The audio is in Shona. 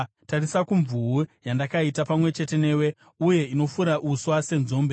“Tarisa kumvuu, yandakaita pamwe chete newe uye inofura uswa senzombe.